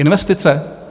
Investice?